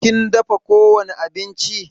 Kin dafa ko wani abinci?